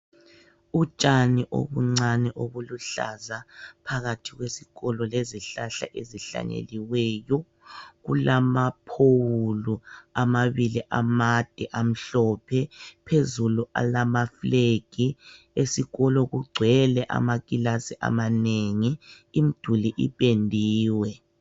Utshani obuncani obuluhlaza phakathi kwesikolo lezihlahla ezihlanyeliweyo. Kulamaphowulu amabili amade amhlophe. Phezulu alama flegi. Esikolo kugcwele amakilasi amanengi, imduli ipendiwe